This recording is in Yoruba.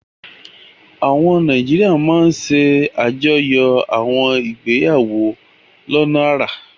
Àwọn Nàìjíríà máa ń ṣàjọyọ̀ àwọn ìgbéyàwó lọ́nà àrà.